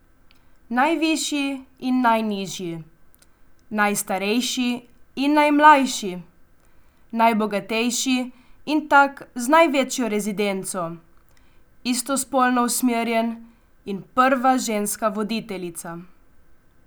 Najvišji in najnižji, najstarejši in najmlajši, najbogatejši in tak z največjo rezidenco, istospolno usmerjen in prva ženska voditeljica.